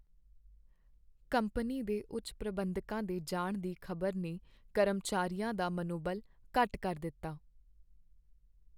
Company ਦੇ ਉੱਚ ਪ੍ਰਬੰਧਕਾਂ ਦੇ ਜਾਣ ਦੀ ਖ਼ਬਰ ਨੇ ਕਰਮਚਾਰੀਆਂ ਦਾ ਮਨੋਬਲ ਘੱਟ ਕਰ ਦਿੱਤਾ ।